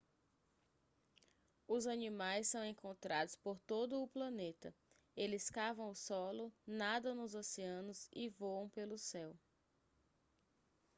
os animais são encontrados por todo o planeta eles cavam o solo nadam nos oceanos e voam pelo céu